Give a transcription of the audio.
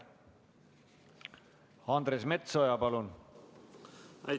Andres Metsoja, palun!